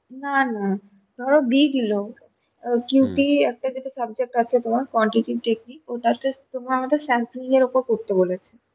না না ধরো big low একটা যেটা subject আছে তোমার quantity technic ওটা আমাদের sampling এর উপরে করতে বলছে